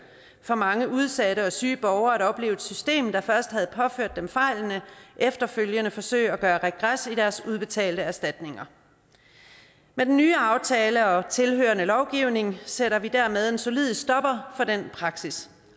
for mange udsatte og syge borgere at opleve at et system der først havde påført dem fejlene efterfølgende forsøgte at gøre regres i deres udbetalte erstatninger med den nye aftale og tilhørende lovgivning sætter vi dermed en solid stopper for den praksis